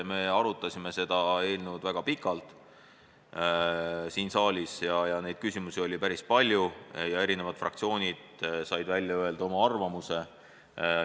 Me arutasime seda eelnõu siin saalis juba väga pikalt, küsimusi oli päris palju ja fraktsioonid said välja öelda oma arvamuse.